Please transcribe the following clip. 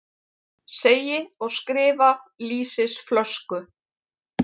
Segi og skrifa lýsisflösku.